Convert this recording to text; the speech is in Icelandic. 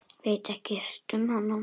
Veit ekkert um hana.